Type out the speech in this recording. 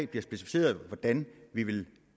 bliver specificeret hvordan vi vil